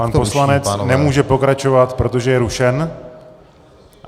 Pan poslanec nemůže pokračovat, protože je rušen.